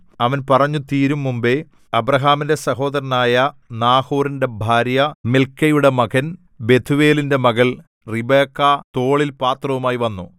അവൻ പറഞ്ഞു തീരുംമുമ്പെ അബ്രാഹാമിന്റെ സഹോദരനായ നാഹോരിന്റെ ഭാര്യ മിൽക്കയുടെ മകൻ ബെഥൂവേലിന്റെ മകൾ റിബെക്കാ തോളിൽ പാത്രവുമായി വന്നു